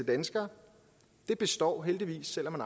danskere og det består heldigvis selv om